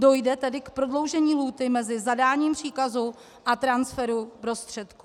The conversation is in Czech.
Dojde tedy k prodloužení lhůty mezi zadáním příkazu a transferu prostředků.